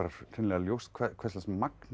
ljóst hvers lags magn